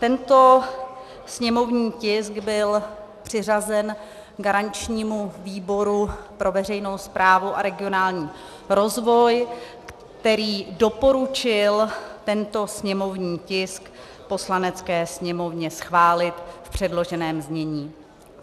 Tento sněmovní tisk byl přiřazen garančnímu výboru pro veřejnou správu a regionální rozvoj, který doporučil tento sněmovní tisk Poslanecké sněmovně schválit v předloženém znění.